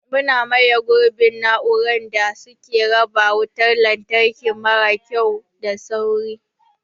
Muna maye gurbin na'urorin da suke raba wutar lantarki mara kyau da sauri.